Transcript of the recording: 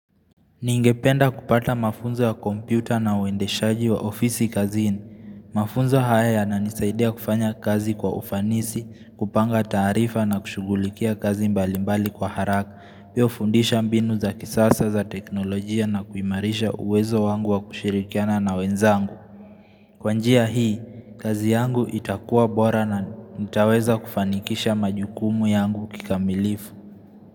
Ningependa kupata mafunzo ya kompyuta na uendeshaji wa ofisi kazini. Mafunzo haya yananisaidia kufanya kazi kwa ufanisi, kupanga taarifa na kushughulikia kazi mbalimbali kwa haraka. Pia hufundisha mbinu za kisasa za teknolojia na kuimarisha uwezo wangu wa kushirikiana na wenzangu. Kwa njia hii, kazi yangu itakuwa bora na nitaweza kufanikisha majukumu yangu kikamilifu.